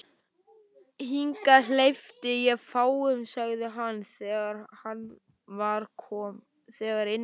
Hingað hleypi ég fáum sagði hann, þegar inn var komið.